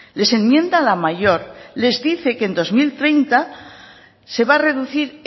les enmienda la mayor les dice que en dos mil treinta se va a reducir